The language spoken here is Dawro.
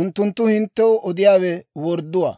unttunttu hinttew odiyaawe wordduwaa.